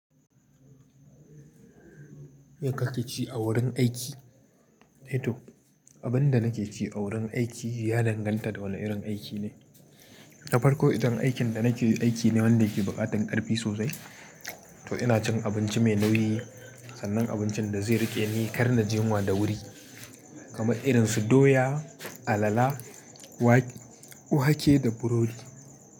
Me kake ci a wurin aiki? To, abin da nake ci a wurin aiki ya danganta da wane irin aiki ne. Tafarko idan aikin da nake yi aiki ne wanda yake buƙatar ƙarfi sosai. To ina cin abinci mai nauyi sannan abincin da zai riƙe ni ƙar na ji yunwa da wuri. Kamar irin su doya, alala, wake da burodi.